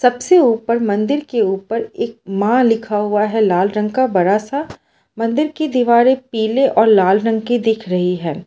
सबसे ऊपर मंदिर के ऊपर एक माँ लिखा हुआ है लाल रंग का बड़ा सा मंदिर की दीवारें पीले और लाल रंग की दिख रहीं हैं।